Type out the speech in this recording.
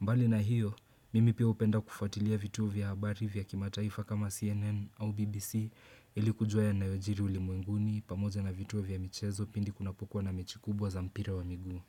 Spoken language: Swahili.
Mbali na hiyo, mimi pia hupenda kufuatilia vituo vya habari vya kimataifa kama CNN au BBC ili kujua yanayojiri ulimwenguni pamoja na vituo vya michezo pindi kunapokuwa na mechi kubwa za mpira wa miguu.